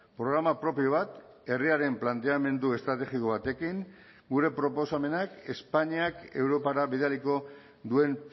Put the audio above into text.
programa propio bat herriaren planteamendu estrategiko batekin gure proposamenak espainiak europara bidaliko duen